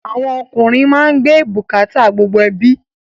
Àwọn ọkùnrin má ń gbé gbogbo ẹbí bukata